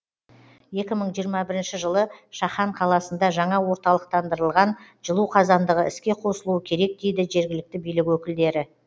екі мың жиырма бірінші жылы шахан қаласында жаңа орталықтандырылған жылу қазандығы іске қосылуы керек дейді жергілікті билік өкілдері